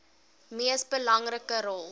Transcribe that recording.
mees belangrike rol